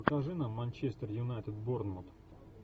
покажи нам манчестер юнайтед борнмут